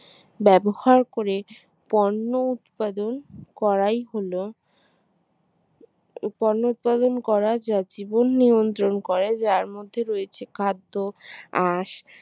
ব্যবহার করে পণ্য উৎপন্ন করাই হলো পণ্য উৎপাদন করা যা জীবন নিয়ন্ত্রণ করে যার মধ্যে রয়েছে খাদ্য আঁশ